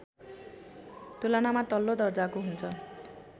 तुलनामा तल्लो दर्जाको हुन्छ